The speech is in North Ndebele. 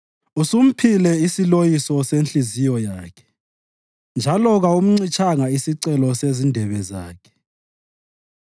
Usumphile isiloyiso senhliziyo yakhe njalo kawumncitshanga isicelo sezindebe zakhe.